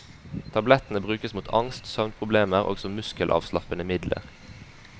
Tablettene brukes mot angst, søvnproblemer og som muskelavslappende midler.